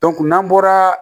n'an bɔra